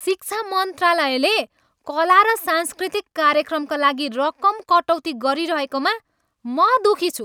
शिक्षा मन्त्रालयले कला र सांस्कृतिक कार्यक्रमका लागि रकम कटौती गरिरहेकोमा म दुखी छु।